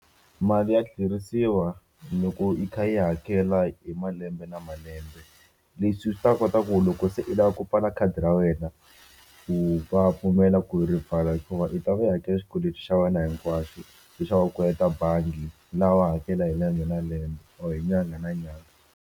Mali ya tlherisiwa loko yi kha yi hakela hi malembe na malembe leswi swi ta kota ku loko se i lava ku pfala khadi ra wena u vapfumela ku rivala hikuva u ta va i hakele xikweleti xa wena hinkwaxo lexaku kolota bangi lawa hakela hi lembe na lembe or nyanga na nyanga.